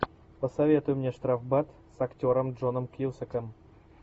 посоветуй мне штрафбат с актером джоном кьюсаком